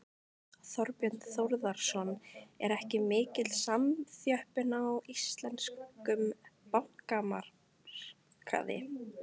Þorbjörn Þórðarson: Er ekki mikil samþjöppun á íslenskum bankamarkaði?